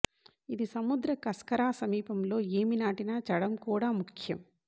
ఇది సముద్ర కస్కరా సమీపంలో ఏమి నాటిన చడం కూడా ముఖ్యం